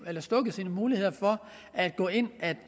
muligheder for at gå ind at